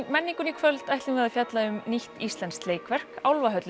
menningunni í kvöld ætlum við að fjalla um nýtt íslenskt leikverk